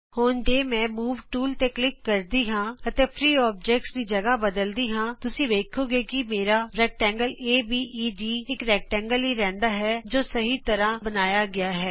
ਹੁਣ ਜੇ ਮੈਂ ਮੂਵ ਟੂਲ ਤੇ ਕਲਿਕ ਕਰਦੀ ਹਾਂ ਅਤੇ ਫਰੀ ਅੋਬਜੈਕਟਜ਼ ਦੀ ਥਾ ਬਦਲਦੀ ਹਾਂ ਤੁਸੀਂ ਵੇਖੋਗੇ ਕਿ ਮੇਰਾ ਆਯਤ ਅਬੇਦ ਇਕ ਆਯਤ ਹੀ ਰਹਿੰਦਾ ਹੈ ਜੇ ਸਹੀ ਤਰ੍ਹਾਂ ਬਣਾਇਆ ਗਿਆ ਹੈ